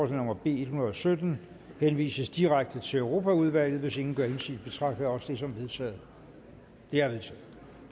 nummer b en hundrede og sytten henvises direkte til europaudvalget hvis ingen gør indsigelse betragter jeg også det som vedtaget det er vedtaget